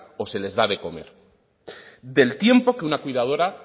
o se les da de comer del tiempo que una cuidadora